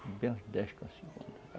E bem uns dez com a segunda.